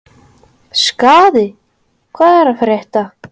Skaði, hvað er að frétta?